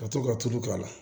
Ka to ka tulu k'a la